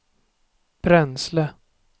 bränsle